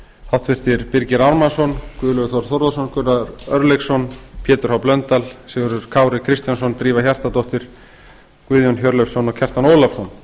háttvirtu birgir ármannsson guðlaugur þór þórðarson gunnar örlygsson pétur h blöndal sigurður kári kristjánsson drífa hjartardóttir guðjón hjörleifsson og kjartan ólafsson